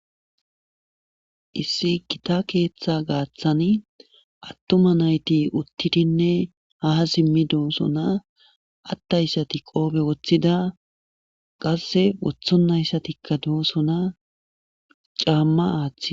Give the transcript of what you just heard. Issi gita keeththa gaaththan atuma nayti uttidine haa simi dosona ataysati qoobe wothida qasse woththonayssatikka dosona caama aathida